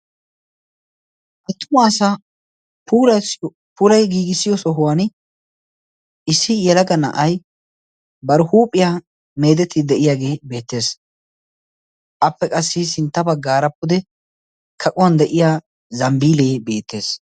Attuma asa pulayi giigissiyo sohuwan issi yalaga na'ay barhuuphiyaa meedeti de'iyaagee beettees appe qassi sintta baggaarappude kaquwan de'iya zambbiilee beettees.